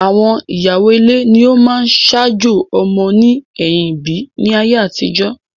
Àwọn ìyàwó ile ni ọ máa ń saájò ọmọ ní ẹ̀yìm ìbí ní ayé àtijọ́